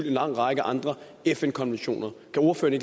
en lang række andre fn konventioner kan ordføreren